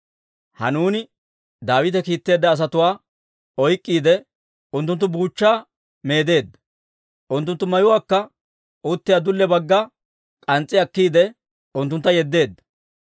Hanuuni Daawite kiitteedda asatuwaa oyk'k'iide, unttunttu buuchchaa meedeedda; unttunttu mayuwaakka uttiyaa dulliyaa baggappe k'ans's'i akkiide, unttuntta yeddeedda.